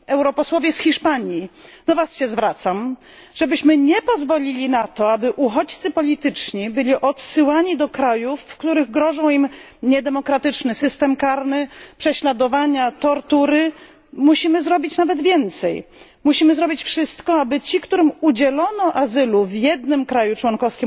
Europosłowie z Hiszpanii, do Was się zwracam, żebyśmy nie pozwolili na to, aby uchodźcy polityczni byli odsyłani do krajów, w